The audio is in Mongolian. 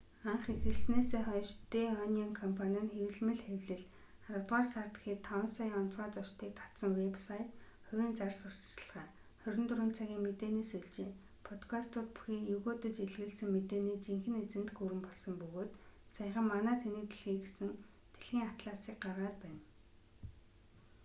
анх эхэлснээсээ хойш дэ онион компани нь хэвлэмэл хэвлэл аравдугаар сард гэхэд 5,000,000 онцгой зочдыг татсан вэб сайт хувийн зар сурталчилгаа 24 цагийн мэдээни сүлжээ подкастууд бүхий егөөдөж элэглэсэн мэдээний жинхэнэ эзэнт гүрэн болсон бөгөөд саяхан манай тэнэг дэлхий гэсэн дэлхийн атласыг гаргаад байна